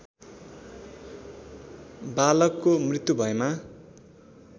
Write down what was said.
बालकको मृत्यु भएमा